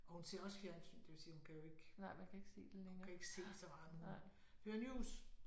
Og hun ser også fjernsyn det vil sige hun kan jo ikke hun kan ikke se så meget men hun hører news